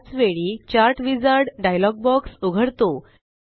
त्याच वेळी chart wizard dialog box उघडतो